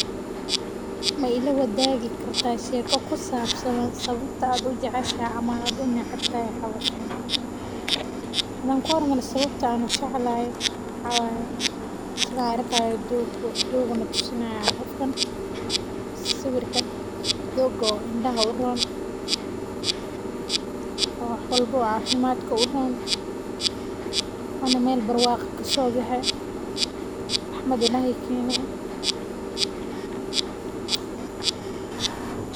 Hadan kuhormaro sawabta an kujeclahay waxa waye sida an arkayo doog ayu natusinaya qofkan swirka doog oo indaha uron oo wax wlbo oo cafimadka uron oo meel barwaqo eh kasobexe rxmad ihaey kene.